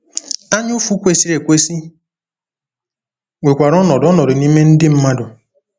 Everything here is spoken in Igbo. Anyaụfụ kwesịrị ekwesị nwekwara ọnọdụ ọnọdụ n’ime ndị mmadụ.